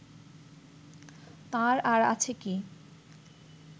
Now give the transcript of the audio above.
তাঁর আর আছে কি